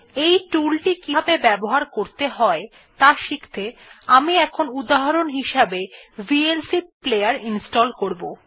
এই টুলটি কিভাবে ব্যবহার করতে হয় ত়া শিখতে আমি এখন উদাহরণ হিসাবে ভিএলসি প্লেয়ার ইনস্টল করবো